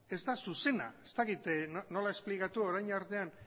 ez da zuzena ez dakit nola esplikatu orain artean